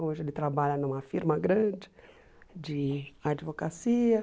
Hoje ele trabalha numa firma grande de advocacia.